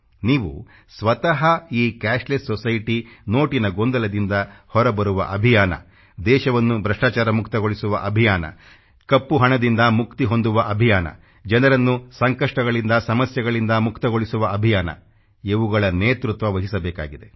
ನೀವು ಸ್ವತಃ ಈ ಕ್ಯಾಶ್ಲೆಸ್ ಸೊಸೈಟಿ ನೋಟಿನ ಗೊಂದಲದಿಂದ ಹೊರಬರುವ ಅಭಿಯಾನ ದೇಶವನ್ನು ಭ್ರಷ್ಟಾಚಾರ ಮುಕ್ತಗೊಳಿಸುವ ಅಭಿಯಾನ ಕಪ್ಪು ಹಣದಿಂದ ಮುಕ್ತಿ ಹೊಂದುವ ಅಭಿಯಾನ ಜನರನ್ನು ಸಂಕಷ್ಟಗಳಿಂದಸಮಸ್ಯೆಗಳಿಂದ ಮುಕ್ತಗೊಳಿಸುವ ಅಭಿಯಾನ ಇವುಗಳ ನೇತೃತ್ವ ವಹಿಸಬೇಕಾಗಿದೆ